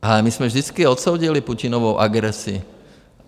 Ale my jsme vždycky odsoudili Putinovu agresi.